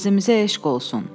Qazimizə eşq olsun.